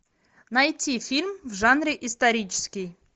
найти фильм в жанре исторический